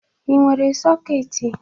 Ị nwere sọketị?